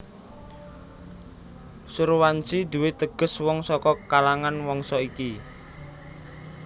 Surwanshi duwé teges wong saka kalangan wangsa iki